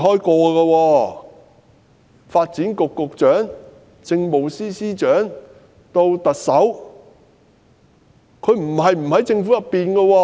她曾擔任發展局局長、政務司司長，以至特首，不曾離開政府。